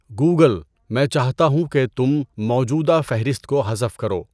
Google, میں چاہتا ہوں کہ تم موجودہ فہرست کو حذف کرو۔